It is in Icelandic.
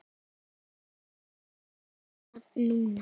Prófið það núna.